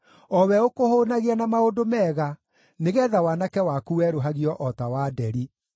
o we ũkũhũũnagia na maũndũ mega nĩgeetha waanake waku werũhagio o ta wa nderi.